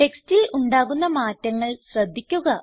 ടെക്സ്റ്റിൽ ഉണ്ടാകുന്ന മാറ്റങ്ങൾ ശ്രദ്ധിക്കുക